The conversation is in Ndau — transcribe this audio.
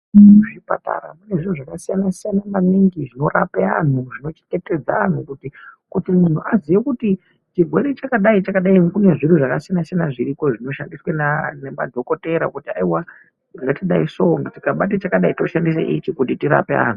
Muzvipatara mune zviro zvakasiyana -siyana maningi zvinorape anhu zvinochengetedza anhu kuti munhu aziye kuti chirwere chakadai chakadai kune zviro zvakasiyana -siyana zviriko zvinoshandiswa nemadhokotera kuti aiwa ngatidaiso tikabate chakadai toshandisa ichi kuti tirape anhu.